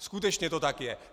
Skutečně to tak je.